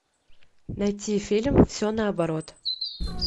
найти фильм все наоборот